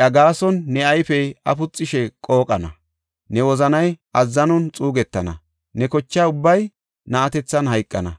iya gaason ne ayfey afuxishe qooqana; ne wozanay azzanon xuugetana; ne kocha ubbay na7atethan hayqana.